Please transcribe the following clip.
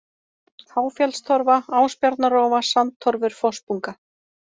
Háfjallstorfa, Ásbjarnarrófa, Sandtorfur, Fossbunga